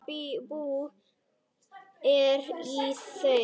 Hvaða bull er í þér?